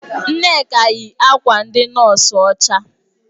Nneka yi akwa ndị nọọsụ ọcha.